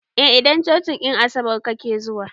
A idan cocin en asabar kake zuwa